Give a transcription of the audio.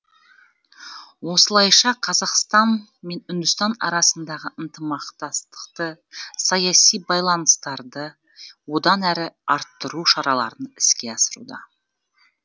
осылайша қазақстан мен үндістан арасындағы ынтымақтастықты саяси байланыстарды одан әрі арттыру шараларын іске асыруда